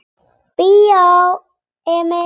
Bíó Emil.